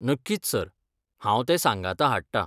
नक्कीच सर! हांव तें सांगाता हाडटा.